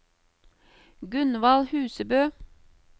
Gunvald Husebø